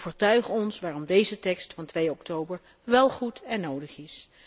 Overtuig ons waarom deze tekst van 2 oktober wel goed en nodig is.